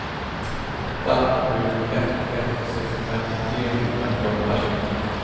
åtta sju ett ett sextiofem trehundrafemtioåtta